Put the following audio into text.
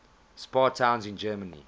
spa towns in germany